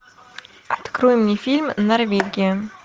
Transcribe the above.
открой мне фильм норвегия